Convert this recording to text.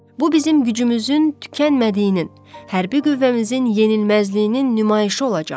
Bu bizim gücümüzün tükənmədiyinin, hərbi qüvvəmizin yenilməzliyinin nümayişi olacaq.